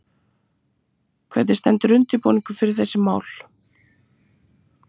Hvernig stendur undirbúningurinn fyrir þessi mál?